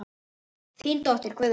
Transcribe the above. Þín dóttir, Guðrún.